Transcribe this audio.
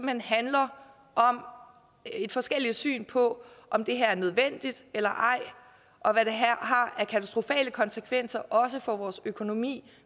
hen handler om et forskelligt syn på om det her er nødvendigt eller ej og hvad det har af katastrofale konsekvenser også for vores økonomi